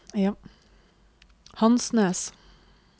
Hansnes